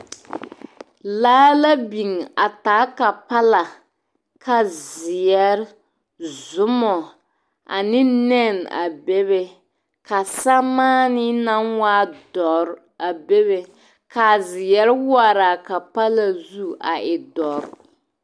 Laa la biŋ a taa kapala ka zeɛre, zuma ane nɛne a be be ka samaani naŋ waa dɔre a bebe ka a zeɛre waare a kapala zu a e dɔre.